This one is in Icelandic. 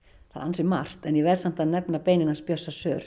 það er ansi margt en ég verð samt að nefna beinin hans Bjössa